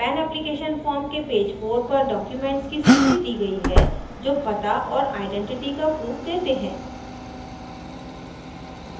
pan application form के pan 4 पर documents की सूची दी गयी है जो पता और आइडेंटिटी का proof देते हैं